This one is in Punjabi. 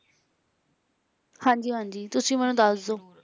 ਹਾਂਜੀ - ਹਾਂਜੀ ਤੁਸੀਂ ਮੈਨੂੰ ਦੱਸਦੋ